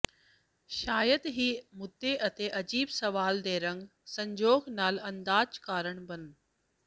ਸ਼ਾਇਦ ਹੀ ਮੁੱਦੇ ਅਤੇ ਅਜੀਬ ਸਵਾਲ ਦੇ ਰੰਗ ਸੰਜੋਗ ਨਾਲ ਅੰਦਾਜ਼ ਕਾਰਨ ਬਣ